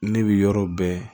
Ne bɛ yɔrɔ bɛɛ